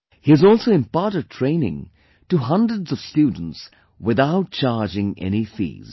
He has also imparted training to hundreds of students without charging any fees